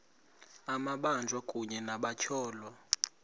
amabanjwa kunye nabatyholwa